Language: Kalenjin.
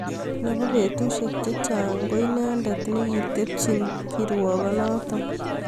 Nebo betusiek chechang ko inendet nekitebchini kirwokonoto